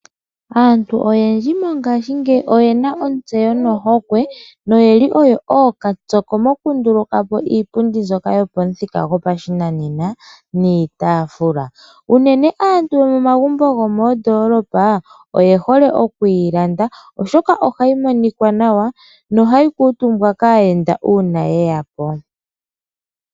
Aantu oyendji mongashingeyi oyena ontseyo nohokwe noyeli oyo ooka pyoki moku ndulu kapo iipundi mbyoka yopamu thika gopashinanena niitaafula, unene aantu yomomagumbo gomoondolopa oye hole okuyi landa oshoka ohayi monika nawa nohayi kuutumbwa kaayenda uuna yeyapo.